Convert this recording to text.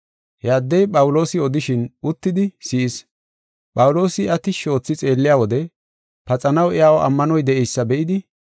He addey Phawuloosi odishin uttidi si7ees. Phawuloosi iya tishshi oothi xeelliya wode paxanaw iyaw ammanoy de7eysa be7idi,